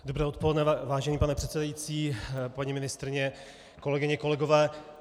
Dobré odpoledne, vážený pane předsedající, paní ministryně, kolegyně, kolegové.